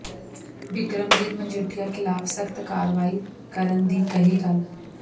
ਬਿਕਰਮਜੀਤ ਮਜੀਠੀਆ ਖਿਲਾਫ ਸਖਤ ਕਾਰਵਾਈ ਕਰਨ ਦੀ ਕਹੀ ਗੱਲ